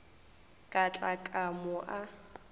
ka tla ka mo a